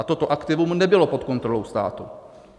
A toto aktivum nebylo pod kontrolou státu.